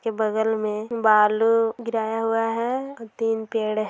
ये बगल मे बालू गिराया हुआ हैं और तीन पेड़ है।